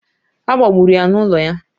A gbagburu ya n'ụlọ ya